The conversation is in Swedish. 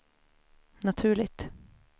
naturligt